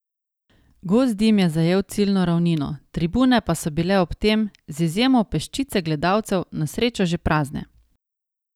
Gost dim je zajel ciljno ravnino, tribune pa so bile ob tem, z izjemo peščice gledalcev, na srečo že prazne.